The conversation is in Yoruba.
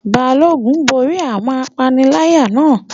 Balógun borí àwọn apaniláyà náà